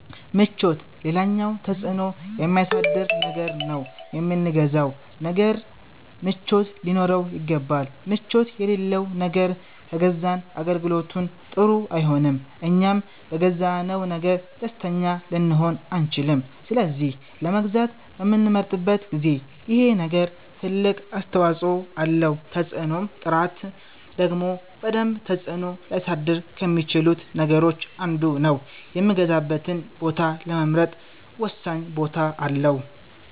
ምቾት ሌላኛው ተፅእኖ የሚያሳድር ነገር ነው የምንገዛው ነገር ምቾት ሊኖረው ይገባል ምቾት የለለው ነገር ከገዛን አገልግሎቱም ጥሩ አይሆንም እኛም በገዛነው ነገር ደስተኛ ልንሆን አንቺልም ስለዚህ ለመግዛት በምንመርጥበት ጊዜ ይሄ ነገር ትልቅ አስተዋፀኦ አለው ተፅእኖም ጥራት ደግሞ በደንብ ተፅእኖ ሊያሳድር ከሚቺሉት ነገሮች አንዱ ነው የምገዛበትን ቦታ ለመምረጥ ወሳኝ ቦታ አለው